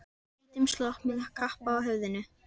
Í hvítum slopp og með kappa á höfðinu.